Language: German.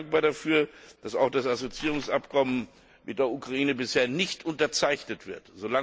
Ich bin dankbar dafür, dass auch das Assoziierungsabkommen mit der Ukraine bislang nicht unterzeichnet wurde.